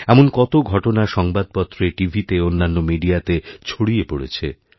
এমন কতো ঘটনা সংবাদপত্রে টিভিতে অন্যান্য মিডিয়াতে ছড়িয়েপড়েছে